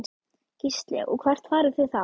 Gísli: Og hvert farið þið þá?